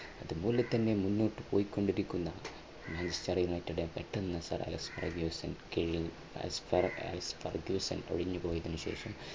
അതുപോലെതന്നെ മുന്നോട്ടു പോയിക്കൊണ്ടിരിക്കുന്ന മാഞ്ചസ്റ്റർ യുണൈറ്റഡ് പെട്ടെന്ന് ഒഴിഞ്ഞു sir alex fargyusan കീഴിൽ alex fargyusan ഒഴിഞ്ഞു പോയതിനുശേഷം,